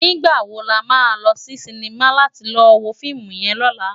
Nigbá wó làmá lò si sinimá làti lò wó fiimú yèn lòlá?